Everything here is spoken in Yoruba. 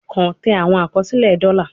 Kan tẹ awọn akọsilẹ dola